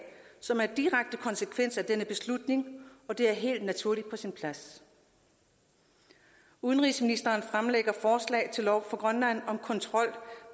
som er en direkte konsekvens af denne beslutning og det er helt naturligt på sin plads udenrigsministeren fremlægger forslag til lov for grønland om kontrol